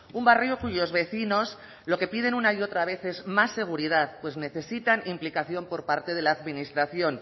un barrio cuyos vecinos lo que piden una y otra vez es más seguridad pues necesitan implicación por parte de la administración